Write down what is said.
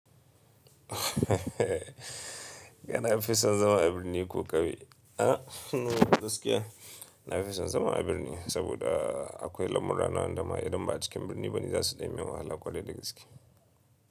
Kana fi son zama a birni ko ƙauye? A gaskiya. Na fi son zama a birni saboda akwai samurai na wanda ma idan ba a cikin birni bane za su ɗan min wahala kwarai da gaske.